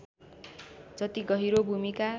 जति गहिरो भूमिका